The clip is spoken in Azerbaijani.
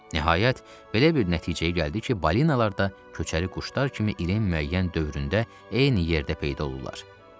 Nəhayət, belə bir nəticəyə gəldi ki, balinalar da köçəri quşlar kimi ilin müəyyən dövründə eyni yerdə peyda olurlar.